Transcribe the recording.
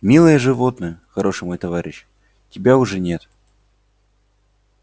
милое животное хороший мой товарищ тебя уже нет